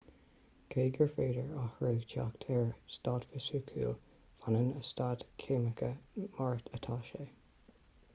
cé gur féidir athrú teacht ar a staid fisiciúil fanann a staid ceimiceach mar atá sé